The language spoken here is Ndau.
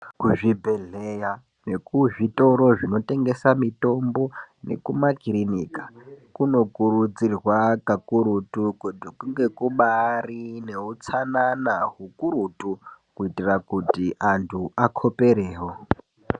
Kuzvibhehleya nekuzvitoro zvinotengesa mitombo nekumakirinika kunokurudzirwa pakurutu kuti kunge kubari neutsanana hukurutu kuti antu akoperewo.